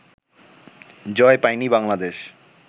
জয় পায়নি বাংলাদেশ